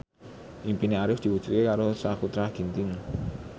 impine Arif diwujudke karo Sakutra Ginting